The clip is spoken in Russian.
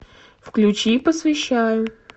включи посвящаю